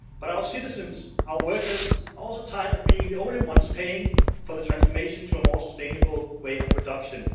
But our citizens and our workers are also tired of being the only ones paying for the transformation to a more sustainable way of production.